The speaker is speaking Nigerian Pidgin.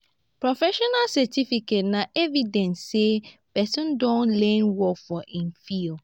professional certification na evidence sey person don learn work for im field